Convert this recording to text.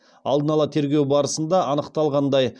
алдын ала тергеу барысында анықталғандай